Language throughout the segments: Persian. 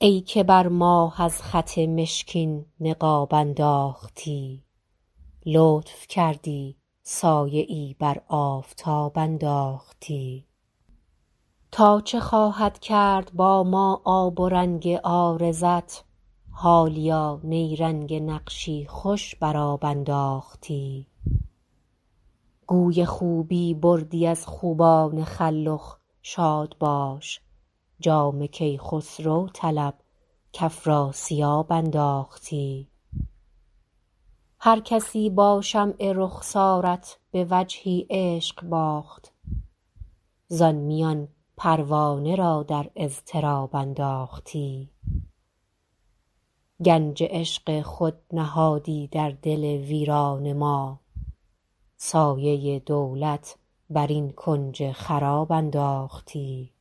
ای که بر ماه از خط مشکین نقاب انداختی لطف کردی سایه ای بر آفتاب انداختی تا چه خواهد کرد با ما آب و رنگ عارضت حالیا نیرنگ نقشی خوش بر آب انداختی گوی خوبی بردی از خوبان خلخ شاد باش جام کیخسرو طلب کافراسیاب انداختی هرکسی با شمع رخسارت به وجهی عشق باخت زان میان پروانه را در اضطراب انداختی گنج عشق خود نهادی در دل ویران ما سایه دولت بر این کنج خراب انداختی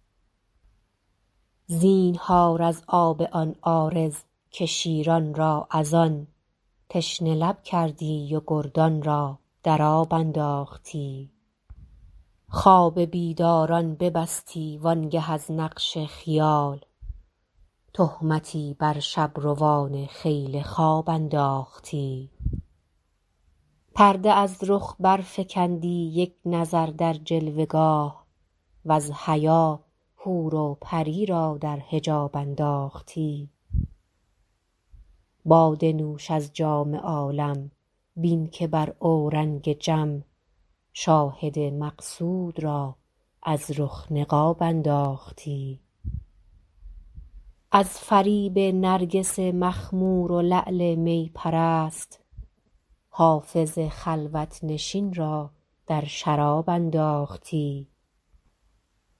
زینهار از آب آن عارض که شیران را از آن تشنه لب کردی و گردان را در آب انداختی خواب بیداران ببستی وآن گه از نقش خیال تهمتی بر شب روان خیل خواب انداختی پرده از رخ برفکندی یک نظر در جلوه گاه وز حیا حور و پری را در حجاب انداختی باده نوش از جام عالم بین که بر اورنگ جم شاهد مقصود را از رخ نقاب انداختی از فریب نرگس مخمور و لعل می پرست حافظ خلوت نشین را در شراب انداختی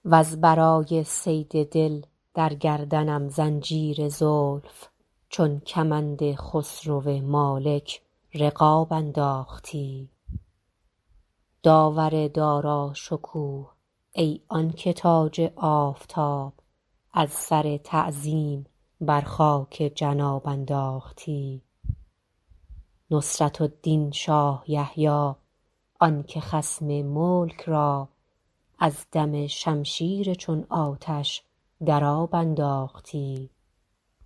وز برای صید دل در گردنم زنجیر زلف چون کمند خسرو مالک رقاب انداختی داور داراشکوه ای آن که تاج آفتاب از سر تعظیم بر خاک جناب انداختی نصرة الدین شاه یحیی آن که خصم ملک را از دم شمشیر چون آتش در آب انداختی